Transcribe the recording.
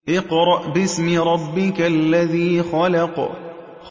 اقْرَأْ بِاسْمِ رَبِّكَ الَّذِي خَلَقَ